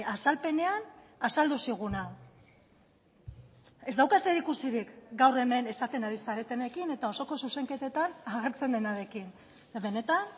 azalpenean azaldu ziguna ez dauka zerikusirik gaur hemen esaten ari zaretenekin eta osoko zuzenketetan agertzen denarekin benetan